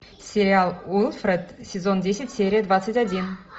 сериал уилфред сезон десять серия двадцать один